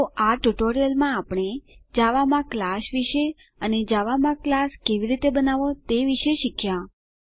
તો આ ટ્યુટોરીયલમાં આપણે જાવામા ક્લાસ વિશે અને જાવામાં ક્લાસ કેવી રીતે બનાવવો તે શીખ્યા